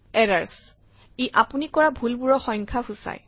errors - ই আপুনি কৰা ভুলবোৰৰ সংখ্যা সূচায়